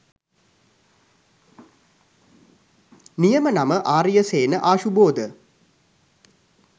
නියම නම ආරියසේන ආශුබෝධ.